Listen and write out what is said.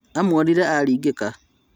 Amwonire aringĩka